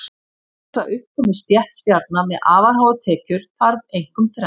Til þess að upp komi stétt stjarna með afar háar tekjur þarf einkum þrennt.